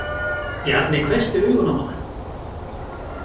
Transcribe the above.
Bjarni hvessti augun á hana.